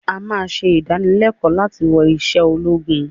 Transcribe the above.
àá máa ṣe ìdánilẹ̀kọ̀ láti wọ̀ ìṣe ológun